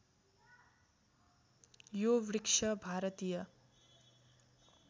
यो वृक्ष भारतीय